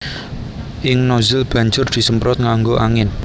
Ing nozzle banjur disemprot nganggo angin